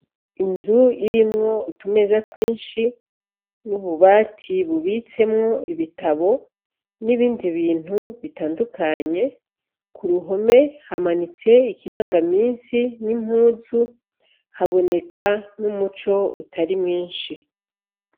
Inzu irimwo utumeza twinshi n’ububati bubitsemwo ibitabo n’ibindi bintu bitandukanye ku ruhome hamanitse ikiranga misi n’impuzu ,haboneka n’ umuco utari mwinshi.